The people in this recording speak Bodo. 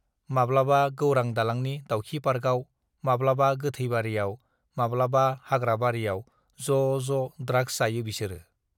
माब्लाबा गौरां दालांनि दाउखि पार्कआव, माब्लाबा गोथैबारियाव, माब्लाबा हाग्रा बारियाव ज' ज' ड्राग्स जायो बिसोरो।